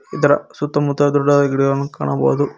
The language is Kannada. ಇದರ ಸುತ್ತಮುತ್ತ ದೊಡ್ಡದದ ಗಿಡ ಕಾಣಬೋದು.